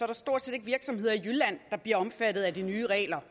der stort set ikke virksomheder i jylland der bliver omfattet af de nye regler